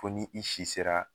Fo ni i si sera